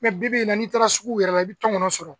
bi bi in na n'i taara sugu yɛrɛ la i bɛ tɔnkɔnɔ sɔrɔ